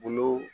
Bolo